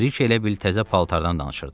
Biriki elə bil təzə paltardan danışırdı.